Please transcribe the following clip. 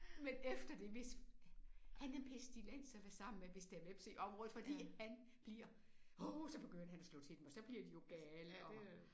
Men efter det hvis han er pestilens at være sammen med hvis der er hvepse i området fordi han bliver åh så begynder han at slå til dem og så bliver de jo gale og